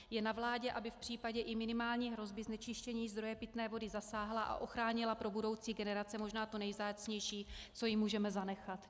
Je na vládě, aby v případě i minimální hrozby znečištění zdroje pitné vody zasáhla a ochránila pro budoucí generace možná to nejvzácnější, co jim můžeme zanechat.